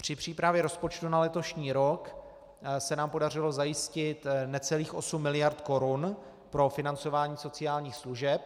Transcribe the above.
Při přípravě rozpočtu na letošní rok se nám podařilo zajistit necelých 8 miliard korun pro financování sociálních služeb.